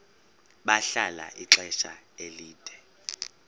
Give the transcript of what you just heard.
bahlala ixesha elide